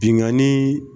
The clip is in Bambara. Binganni